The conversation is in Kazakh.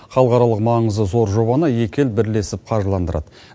халықаралық маңызы зор жобаны екі ел бірлесіп қаржыландырады